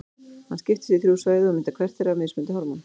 Hann skiptist í þrjú svæði og myndar hvert þeirra mismunandi hormón.